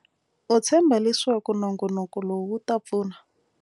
U tshemba leswaku nongonoko lowu wu ta pfuna.